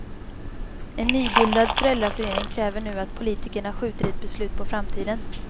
En nybildad föräldraförening kräver nu att politikerna skjuter ett beslut på framtiden.